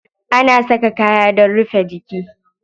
Ana saka kaya dan a rufe jiki.